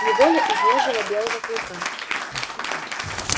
неволя изнежила белого клыка